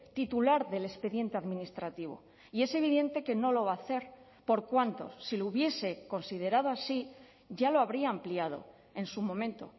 titular del expediente administrativo y es evidente que no lo va a hacer por cuánto si lo hubiese considerado así ya lo habría ampliado en su momento